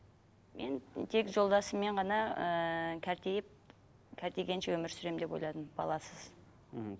мен тек жолдасыммен ғана ыыы өмір сүремін деп ойладым баласыз мхм